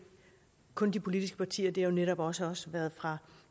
kun de politiske partier det har netop også også været fra